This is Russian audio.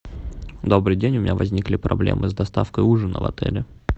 добрый день у меня возникли проблемы с доставкой ужина в отеле